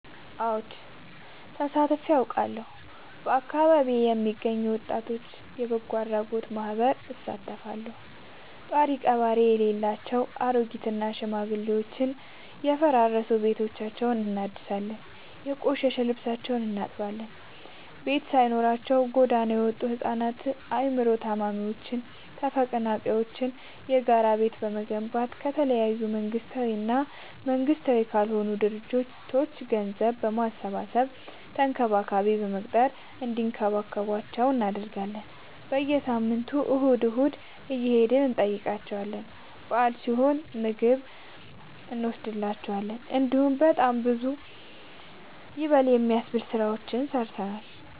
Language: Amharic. አወድ ተሳትፊ አውቃለሁ። በአካቢዬ የሚገኝ የወጣቶች በጎአድራጎት ማህበር እሳተፋለሁ። ጦሪቀባሪ የሌላቸው አሬጊት እና ሽማግሌዎችን የፈራረሰ ቤታቸውን እናድሳለን፤ የቆሸሸ ልብሳቸውን እናጥባለን፤ ቤት ሳይኖራቸው ጎዳና የወጡቱ ህፃናትን አይምሮ ታማሚዎችን ተፈናቃይዎችን የጋራ ቤት በመገንባት ከተለያዩ መንግስታዊ እና መንግስታዊ ካልሆኑ ድርጅቶች ገንዘብ በማሰባሰብ ተንከባካቢ በመቅጠር እንዲከባከቧቸው እናደርጋለን። በየሳምንቱ እሁድ እሁድ እየሄድን እንጠይቃቸዋለን በአል ሲሆን ምግብ እኖስድላቸዋለን። እንዲሁም በጣም ብዙ ይበል የሚያስብ ስራዎችን ሰርተናል።